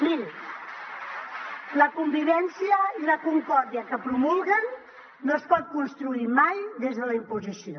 mirin la convivència i la concòrdia que promulguen no es pot construir mai des de la imposició